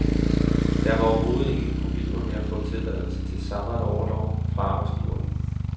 Der var overhovedet ingen problemer med at få tilladelse til sabbatorlov fra arbejdsgiveren.